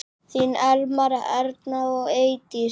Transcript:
Þín Elmar, Erna og Eydís.